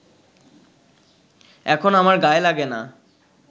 এখন আমার গায়ে লাগে না